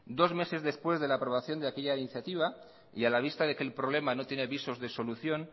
dos meses después de la aprobación de aquella iniciativa y a la vista de que el problema no tiene visos de solución